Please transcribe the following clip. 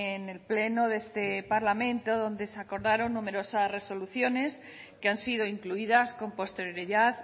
en el pleno de este parlamento donde se acordaron numerosas resoluciones que han sido incluidas con posterioridad